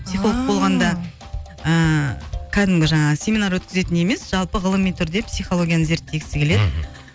психолог болғанда ыыы кәдімгі жаңағы семинар өткізетін емес жалпы ғылыми түрде психологияны зерттегісі келеді мхм